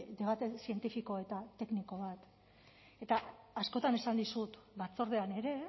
debate zientifiko eta tekniko bat eta askotan esan dizut batzordean ere